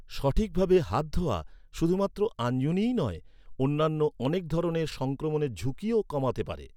সঠিকভাবে হাত ধোয়া শুধুমাত্র আঞ্জনিই নয়, অন্যান্য অনেক ধরনের সংক্রমণের ঝুঁকিও কমাতে পারে।